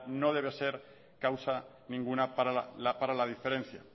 no debe ser causa ninguna para la diferencia